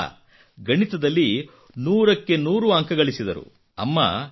ಇಷ್ಟೇ ಅಲ್ಲ ಗಣಿತದಲ್ಲಿ ನೂರಕ್ಕೆ ನೂರು ಅಂಕ ಗಳಿಸಿದರು